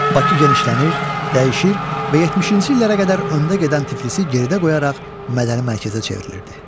Bakı genişlənir, dəyişir və 70-ci illərə qədər öndə gedən Tiflisi geridə qoyaraq mədəni mərkəzə çevrilirdi.